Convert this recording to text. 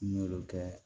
N y'olu kɛ